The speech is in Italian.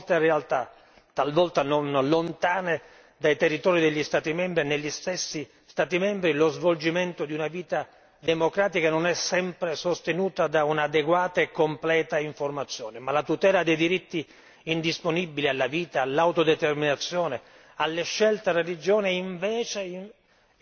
dai territori degli Stati membri, negli stessi Stati membri, lo svolgimento di una vita democratica non è sempre sostenuto da un'adeguata e completa informazione, ma la tutela dei diritti indisponibili alla vita, all'autodeterminazione, alle scelte e alla religione invece impone un pluralismo informativo.